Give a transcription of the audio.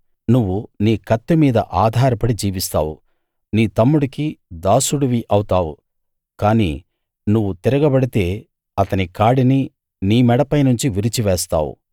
నువ్వు నీ కత్తి మీద ఆధారపడి జీవిస్తావు నీ తమ్ముడికి దాసుడివి అవుతావు కానీ నువ్వు తిరగబడితే అతని కాడిని నీ మెడపైనుండి విరిచి వేస్తావు